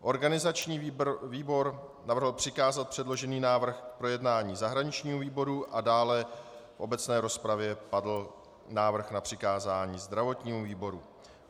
Organizační výbor navrhl přikázat předložený návrh k projednání zahraničnímu výboru a dále v obecné rozpravě padl návrh na přikázání zdravotnímu výboru.